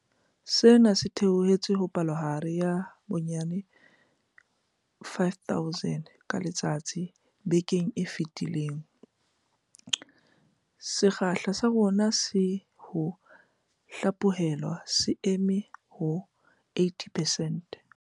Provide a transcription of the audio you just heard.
Sena se theohetse ho palohare ya bonyane 5 000 ka letsatsi bekeng ena e fetileng. Sekgahla sa rona sa ho hlaphohelwa se eme ho 80 percent.